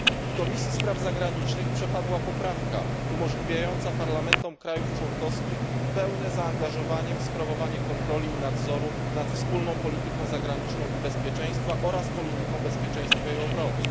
W Komisji Spraw Zagranicznych przepadła poprawka umożliwiająca parlamentom państw członkowskich pełne zaangażowanie w sprawowanie kontroli i nadzoru nad wspólną polityką zagraniczną i bezpieczeństwa oraz polityką bezpieczeństwa i obrony.